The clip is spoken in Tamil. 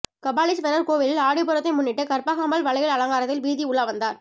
கபாலீஸ்வரர் கோவிலில் ஆடிப்பூரத்தை முன்னிட்டு கற்பகாம்பாள் வலையல் அலங்காரத்தில் வீதி உலா வந்தார்